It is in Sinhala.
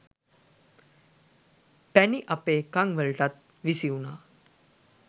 පැණි අපේ කන් වලටත් විසි වුණා